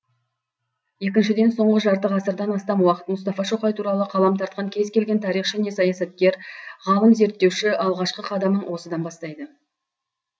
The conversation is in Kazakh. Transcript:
екіншіден соңғы жарты ғасырдан астам уақыт мұстафа шоқай туралы қалам тартқан кез келген тарихшы не саясаткер ғалым зерттеуші алғашқы қадамын осыдан бастайды